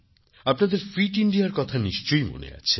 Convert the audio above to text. আপনাদের ফিট ইন্ডিয়ার কথা নিশ্চয়ই মনে আছে